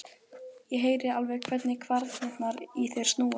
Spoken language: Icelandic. Ég heyri alveg hvernig kvarnirnar í þér snúast.